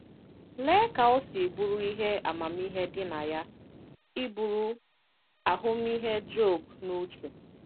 Lee ka o si bụrụ ihe amamihe dị na ya iburu ahụmịhe Job n'uche!